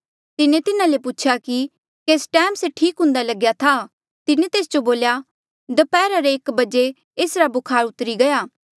तिन्हें तिन्हा ले पूछेया कि केस टैम से ठीक हुन्दा लग्या था तिन्हें तेस जो बोल्या दप्हैरा रे एक बजे एसरा बुखार उतरी गया